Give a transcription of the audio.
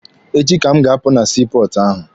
Echi ka m ga-apụ na sii pọọtụ ahụ.